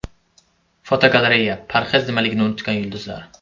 Fotogalereya: Parhez nimaligini unutgan yulduzlar.